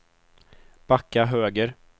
backa höger